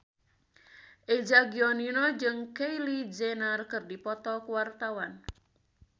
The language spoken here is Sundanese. Eza Gionino jeung Kylie Jenner keur dipoto ku wartawan